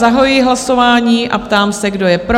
Zahajuji hlasování a ptám se, kdo je pro?